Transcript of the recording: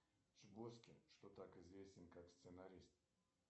что так известен как сценарист